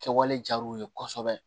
Kɛwale diyar'u ye kosɛbɛ